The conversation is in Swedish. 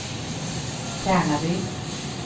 Tärnaby